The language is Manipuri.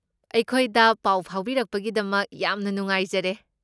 ꯑꯩꯈꯣꯏꯗ ꯄꯥꯎ ꯐꯥꯎꯕꯤꯔꯛꯄꯒꯤꯗꯃꯛ ꯌꯥꯝꯅ ꯅꯨꯉꯥꯏꯖꯔꯦ꯫